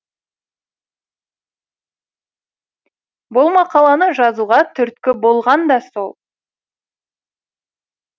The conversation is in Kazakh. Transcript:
бұл мақаланы жазуға түрткі болған да сол